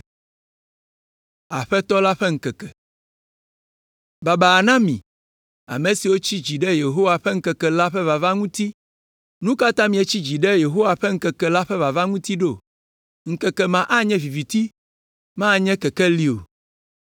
Baba na mi, ame siwo tsi dzi ɖe Yehowa ƒe ŋkeke la ƒe vava ŋuti. Nu ka ta mietsi dzi ɖe Yehowa ƒe ŋkeke la ƒe vava ŋuti ɖo? Ŋkeke ma anye viviti, manye kekeli o.